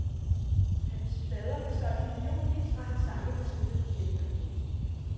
Hans plader blev solgt i millionvis og hans sange blev spillet igen og igen.